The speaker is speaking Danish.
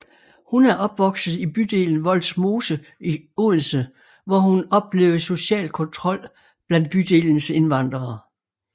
Hun er opvokset i bydelen Vollsmose i Odense hvor hun oplevede social kontrol blandt bydelens indvandrede